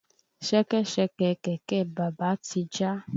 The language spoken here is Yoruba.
Ṣẹkẹ́ṣẹkẹ̀ kẹ̀kẹ́ bàbá ti já.